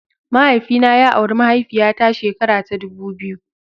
Mahaifina ya auri mahaifiya ta shekara ta dubu biyu.